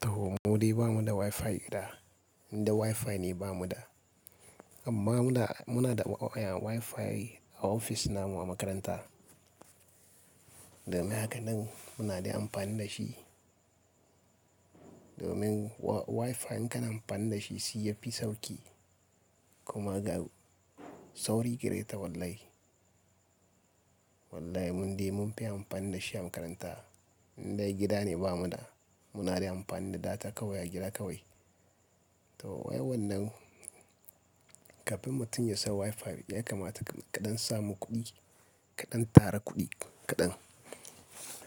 To, mu dai ba mu da Wi-Fi gida, inda Wi-Fi ne ba mu da. Amma muna, muna da waya Wi-Fi a ofis namu a makaranta. Domin haka nan muna da amfani da shi. Domin wa-Wi-Fi in ka na amfani da shi, shi ya fi sauki kuma ga sauri gareta wallahi. Wallahi mun dai mun fi amfani da shi a makaranta. Indai gida ne ba mu da, mu na yi amfani da data kawai a gida kawai. To wai wannan kafin mutum ya sa Wi-Fi, ya kamata kaɗan samu kuɗi, kaɗan tara kuɗi kaɗan.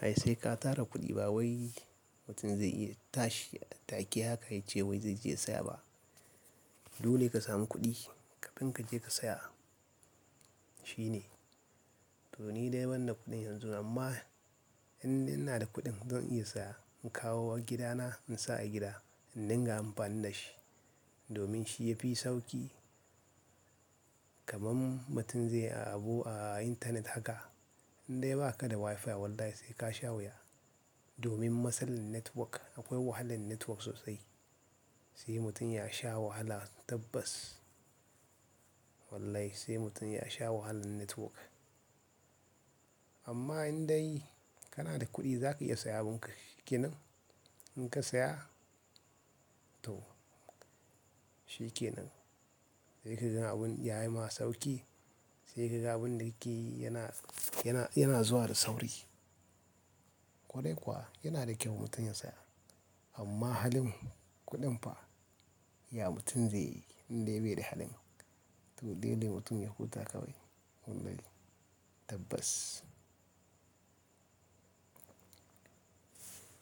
Ai sai ka tara kuɗi ba wai mutum zai iya tashi a take haka ya ce wai zai je ya saya ba. Dole ka samu kuɗi kafin ka je ka saya. Shi ne. To ni dai ban da kuɗin yanzu amma idan ina da kuɗin zan iya sa in kawo gida na in sa a gida in dinga amfani da shi domin shi ya fi sauki. Kaman mutum zai yi abu a intanet haka, indai ba ka da Wi-Fi wallahi sai ka sha wuya. Domin masalan network akwai wahalan network sosai. Sai mutum ya sha wahala tabbas. Wallahi sai mutum ya sha wahalan network. Amma indai kana da kuɗi za ka iya saya abun ka-shikenan. In ka saya to shi ke nan. Sai ka ga abun yayi ma sauki, sai ka ga abun da kake yi yana, yana, yana zuwa da sauri. Kwarai kuwa yana da kyau mutum ya saya. Amma halin kuɗin fa ya mutum zai yi indai bai da halin. To dai dai mutum ya huta kawai wallahi tabbas.